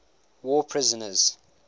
war prisoners